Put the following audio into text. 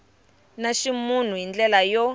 ta ximunhu hi ndlela yo